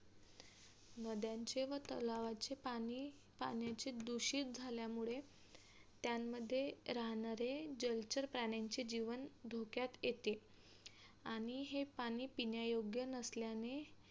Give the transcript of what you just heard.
नद्यांचे व तलावांचे पाणी पाण्याचे दुषित झाल्यामुळे त्यामंध्ये राहणारे जलचर प्रान्यांचे जीवन धोक्यात येते आणि हे पाणी पिण्यायोग्य नसल्याने